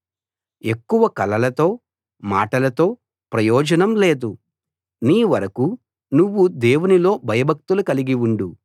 ఎక్కువ కలలతో మాటలతో ప్రయోజనం లేదు నీ వరకూ నువ్వు దేవునిలో భయభక్తులు కలిగి ఉండు